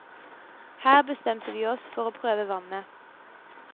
Her bestemte vi oss for å prøve vannet.